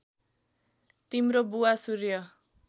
तिम्रो बुवा सूर्य